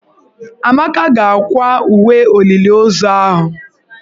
Amaka ga-akwa uwe olili ozu ahụ.